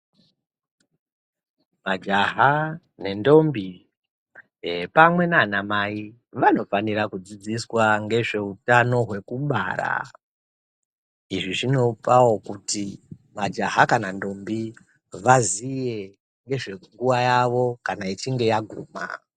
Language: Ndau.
Majaha nendombi ,eee pamwe naanamai vanofanira kudzidziswa ngezveutano hwekubara. Izvi zvinopawo kuti majaha kana ndombi vaziye ngezvenguwa yawo kana ichinge yaguma.